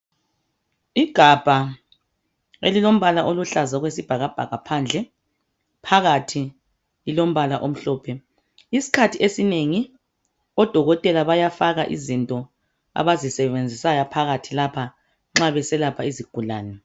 Igabha elilombala oluhlaza okwesibhakabhaka phandle, phakathi lilombala omhlophe. Isikhathi esinengi odokotela bayafaka izinto abazisebenzisayo phakhathi lapha nxa beselapha izigulane.